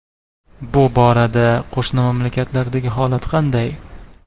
Bu borada qo‘shni mamlakatlardagi holat qanday?